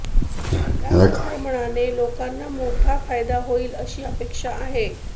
या संक्रमणाने लोकांना मोठा फायदा होईल अशी अपेक्षा आहे